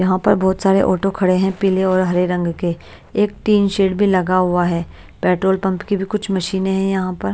यहाँ पर बहोत सारे ऑटो खड़े हैं पीले और हरे रंग के एक टीन शेड भी लगा हुआ है पेट्रोल पंप की भी कुछ मशीनें हैं यहां पर--